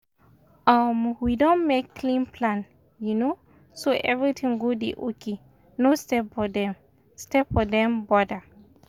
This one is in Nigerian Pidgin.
um we don make clean plan um so everything go dey okay no step for dem step for dem border.